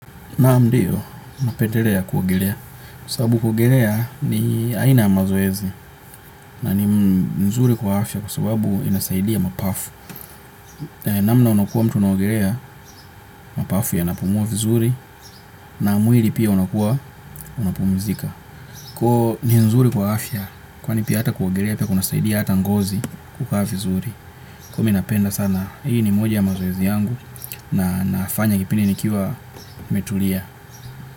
Naa ndiyo, napendelea kuogelea. Kwasababu kuogelea ni aina mazoezi. Na ni nzuri kwa afya kusabu inasaidia mapafu. Namna unakuwa mtu naogelea, mapafu yanapumua vizuri. Na mwili pia unakuwa, unapumuzika. Kwahiyo ni nzuri kwa afya, kwani pia ata kuogelea pia kunasaidia hata ngozi kukaa vizuri. Kwahiyo mi napenda sana, hii ni moja ya mazoezi yangu. Na nafanya kipindi nikiwa nimetulia.